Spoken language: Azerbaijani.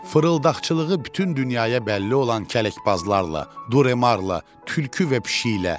Fırıldaqçılığı bütün dünyaya bəlli olan kələkbazlarla, Duremarla, tülkü və pişiklə.